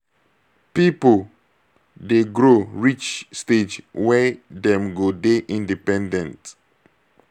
pipo dey grow reach stage wey dem go dey independent